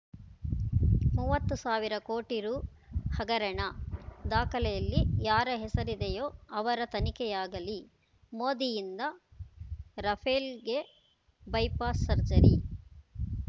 ಮೂವತ್ತು ಸಾವಿರ ಕೋಟಿ ರೂ ಹಗರಣ ದಾಖಲೆಯಲ್ಲಿ ಯಾರ ಹೆಸರಿದೆಯೋ ಅವರ ತನಿಖೆಯಾಗಲಿ ಮೋದಿಯಿಂದ ರಫೇಲ್‌ಗೆ ಬೈಪಾಸ್ ಸರ್ಜರಿ